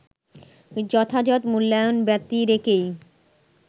যথাযথ মূল্যায়ন ব্যতিরেকেই